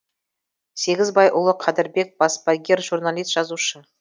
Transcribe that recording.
сегізбайұлы кәдірбек баспагер журналист жазушы